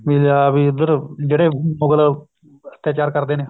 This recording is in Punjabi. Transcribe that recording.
ਫੇਰ ਆਪ ਈ ਇੱਧਰ ਜਿਹੜੇ ਮੁਗਲ ਅੱਤਿਆਚਾਰ ਕਰਦੇ ਨੇ